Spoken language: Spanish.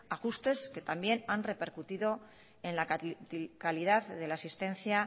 ajustes que también han repercutido en la calidad de la asistencia